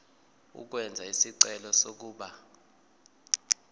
ukwenza isicelo sokuba